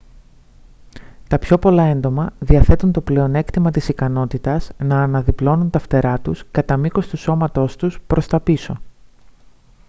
τα πιο πολλά έντομα διαθέτουν το πλεονέκτημα της ικανότητας να αναδιπλώνουν τα φτερά τους κατά μήκος του σώματός τους προς τα πίσω